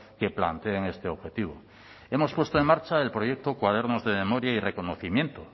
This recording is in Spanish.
que planteen este objetivo hemos puesto en marcha el proyecto cuadernos de memoria y reconocimiento